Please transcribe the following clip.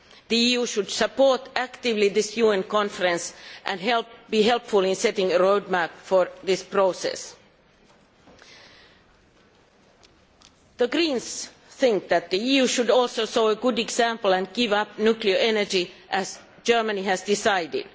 The EU should support actively this UN conference and be helpful in setting a road map for this process. The Greens think that the EU should also set a good example and give up nuclear energy, as Germany has decided.